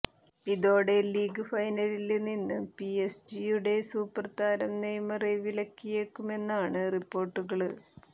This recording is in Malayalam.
ഇതോടെ ലീഗ് ഫൈനലില് നിന്ന് പിഎസ്ജിയുടെ സൂപ്പര്താരം നെയ്മറെ വിലക്കിയേക്കുമെന്നാണ് റിപ്പോര്ട്ടുകള്